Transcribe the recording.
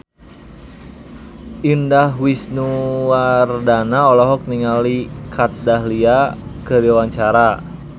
Indah Wisnuwardana olohok ningali Kat Dahlia keur diwawancara